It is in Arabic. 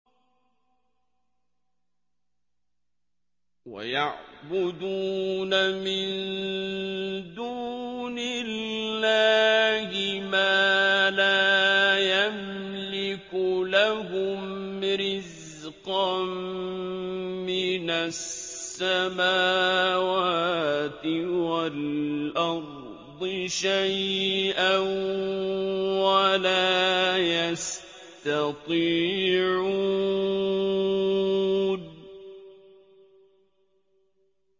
وَيَعْبُدُونَ مِن دُونِ اللَّهِ مَا لَا يَمْلِكُ لَهُمْ رِزْقًا مِّنَ السَّمَاوَاتِ وَالْأَرْضِ شَيْئًا وَلَا يَسْتَطِيعُونَ